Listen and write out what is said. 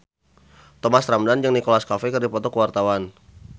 Thomas Ramdhan jeung Nicholas Cafe keur dipoto ku wartawan